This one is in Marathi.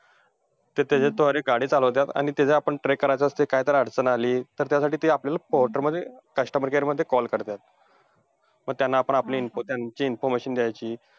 त्याच्याद्वारे ते गाडी चालवतात आणि त्यांना आपण track करायचं असतंय, जर त्यांना काय जर अडचण आली, तर त्यासाठी ते पोर्टरमध्ये customer care मध्ये call करतात. मग त्यांना आपण आपली~ त्यांची information द्यायची.